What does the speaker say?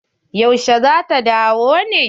Yaushe zata dawo ne?